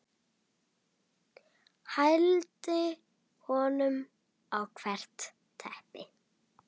Hældi honum á hvert reipi.